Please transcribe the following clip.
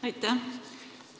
Aitäh!